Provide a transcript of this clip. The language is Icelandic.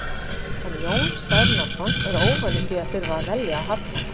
En Jón Særúnarson er óvanur því að þurfa að velja og hafna.